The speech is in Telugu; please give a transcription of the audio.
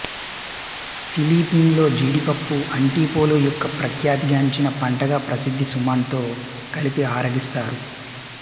ఫిలిపిన్స్లో జీడిపప్పు అంటిపోలో యొక్క ప్రఖ్యాతి గాంచిన పంటగా ప్రసిద్ధి సుమన్ తో కలిపి ఆరగిస్తారు